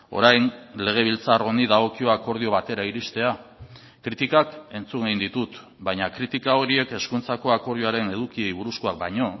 orain legebiltzar honi dagokio akordio batera iristea kritikak entzun egin ditut baina kritika horiek hezkuntzako akordioaren edukiei buruzkoak baino